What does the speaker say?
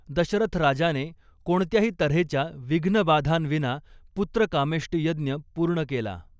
दशरथ राजाने कोणत्याही तर्हेच्या विघ्नबाधांविना पुत्रकामेष्टि यज्ञ पूर्ण केला.